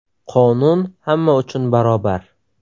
Qonun hamma uchun barobar.